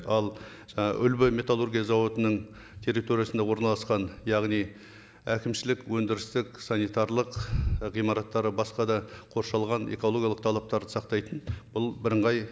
ал жаңа үлбі металлургия зауытының территориясында орналасқан яғни әкімшілік өндірістік санитарлық ғимараттары басқа да қоршалған экологиялық талаптарды сақтайтын бұл бірыңғай